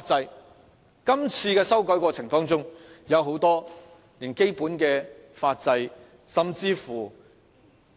在今次修改的過程中，我們連很多基本的法制甚至《